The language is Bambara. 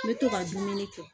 N bɛ to ka dumuni kɛ